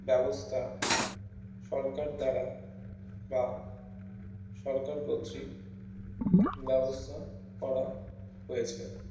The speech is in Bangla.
ব্যবস্তা সরকার দ্বারা বা সরকার কতৃক ব্যবস্তা করা হয়েছে